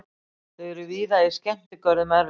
Þau eru víða í skemmtigörðum erlendis.